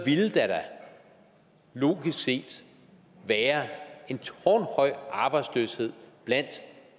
logisk set være en tårnhøj arbejdsløshed blandt